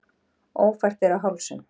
Ófært er á Hálsum